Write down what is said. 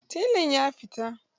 Telan ya fita.